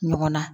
Ɲɔgɔn na